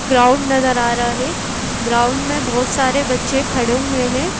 Ground नजर आ रहा है ग्राउंड में बहुत सारे बच्चे खड़े हुए हैं।